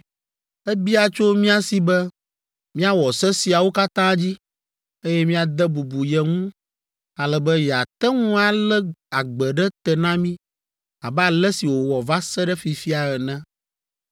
Ebia tso mía si be míawɔ se siawo katã dzi, eye míade bubu ye ŋu ale be yeate ŋu alé agbe ɖe te na mí abe ale si wòwɔ va se ɖe fifia ene,